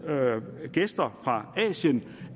gæster fra asien